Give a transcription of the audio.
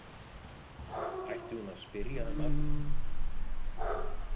Ætti hún að spyrja hann að því?